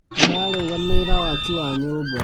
Ararũgamĩrĩra waki wa nyũmba